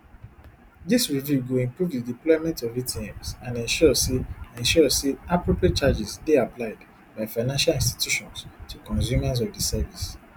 dis review goi improve di deployment of atms and ensure say ensure say appropriate charges dey applied by financial institutions to consumers of di service